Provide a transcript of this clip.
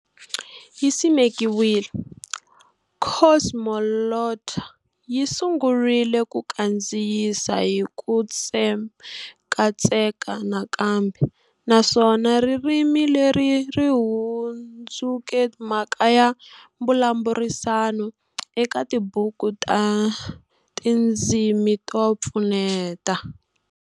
Yi simekiwile, Cosmoglotta a yi sungurile ku kandziyisa hi ku tsekatseka nakambe, naswona ririmi leri ri hundzuke mhaka ya mbulavurisano eka tibuku ta tindzimi to pfuneta.